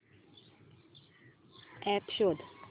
app शोध